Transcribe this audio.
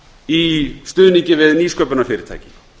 í stuðningi við nýsköpunarfyrirtæki